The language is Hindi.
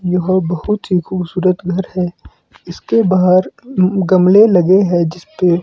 यहां बहुत ही खूबसूरत घर है इसके बाहर गमले लगे हैं जिस पे--